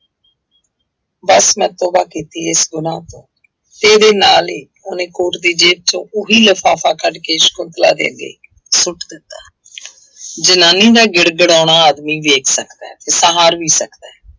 ਬਸ ਮੈਂ ਤੋਬਾ ਕੀਤੀ ਇਸ ਗੁਨਾਹ ਤੋਂ ਤੇਰੇ ਨਾਲ ਹੀ ਉਹਨੇ ਕੋਟ ਦੀ ਜੇਬ ਚੋਂ ਉਹੀ ਲਿਫ਼ਾਫ਼ਾ ਕੱਢ ਕੇ ਸਕੁੰਤਲਾ ਦੇ ਅੱਗੇ ਸੁੱਟ ਦਿੱਤਾ ਜਨਾਨੀ ਦਾ ਗਿੜਗਿੜਾਉਣਾ ਆਦਮੀ ਦੇਖ ਸਕਦਾ ਹੈ, ਤੇ ਸਹਾਰ ਵੀ ਸਕਦਾ ਹੈ,